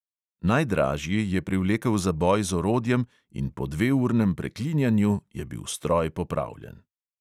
Najdražji je privlekel zaboj z orodjem in po dveurnem preklinjanju je bil stroj popravljen.